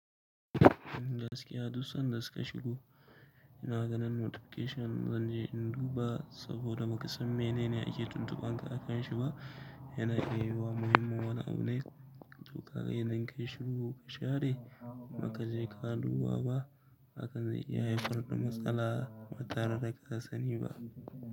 In gaskiya duk san da suka shigo, ina ganin notification zan je in duba saboda bakasan me ne ne ake tuntuban ka akan shi ba. Yana iya yiwa muhimmin wani abu ne, to ka ga idan kai shiru ka share, baka je ka duba ba, hakan zai iya haifar da matsala ba tare da ka sani ba.